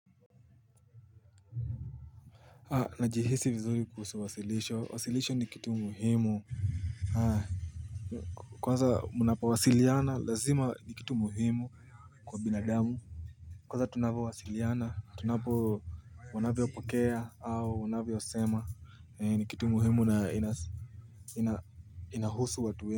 Najihisi vizuri kuhusu wasilisho, wasilisho ni kitu muhimu Haa Kwanza munapo wasiliana lazima ni kitu muhimu kwa binadamu Kwanza tunapo wasiliana, tunapo wana vyopokea au wanavyo sema ni kitu muhimu na inahusu watu we.